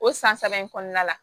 O san saba in kɔnɔna la